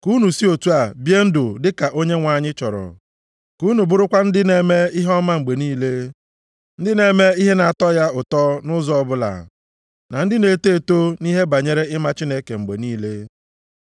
Ka unu si otu a bie ndụ dị ka Onyenwe anyị chọrọ. Ka unu bụrụkwa ndị na-eme ihe ọma mgbe niile, ndị na-eme ihe na-atọ ya ụtọ nʼụzọ ọbụla, na ndị na-eto eto nʼihe banyere ịma Chineke mgbe niile.